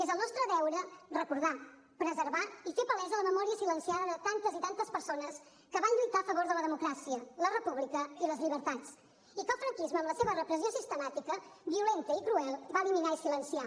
és el nostre deure recordar preservar i fer palesa la memòria silenciada de tantes i tantes persones que van lluitar a favor de la democràcia la república i les llibertats i que el franquisme amb la seva repressió sistemàtica violenta i cruel va eliminar i silenciar